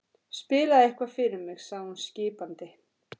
Spilaðu eitthvað fyrir mig sagði hún skipandi.